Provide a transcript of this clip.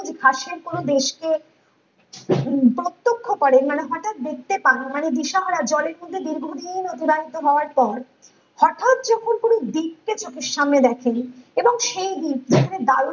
ঘাসের কোনো দেশ কে কে প্রতাখ্যা করেন মানে হটাৎ দেখতে পান মানে দিশে হারা জলের মধ্যে দীর্ঘ্যদিন অতিবাহিত হওয়ার পর হটাৎ যখন কোনো দ্বীপকে চোখের সামনে দেখেন এবং সেই দ্বীপ যেখানে বালুচি